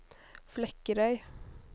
Flekkerøy